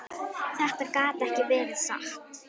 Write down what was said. Þetta gat ekki verið satt.